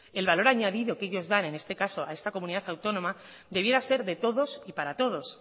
el valor añadido que ellos dan en este caso a esta comunidad autónoma debiera ser de todos y para todos